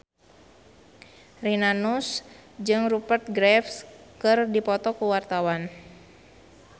Rina Nose jeung Rupert Graves keur dipoto ku wartawan